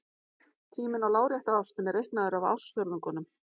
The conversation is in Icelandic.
Tíminn á lárétta ásnum er reiknaður í ársfjórðungum.